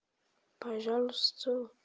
пожалуйста